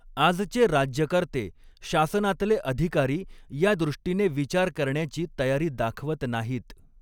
आजचे राज्यकर्ते, शासनातले अधिकारी या दृष्टीने विचार करण्याची तयारी दाखवत नाहीत.